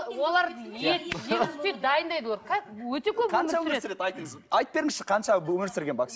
олар өте көп өмір сүреді айтып беріңізші қанша өмір сүрген